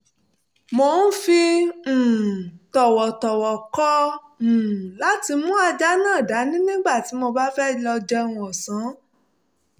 mo fi um tọ̀wọ̀tọ̀wọ̀ kọ̀ um láti mú ajá náà dání nígbà tí mo bá fẹ́ lọ jẹun ọ̀sán